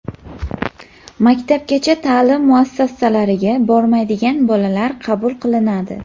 maktabgacha taʼlim muassasalariga bormaydigan bolalar qabul qilinadi.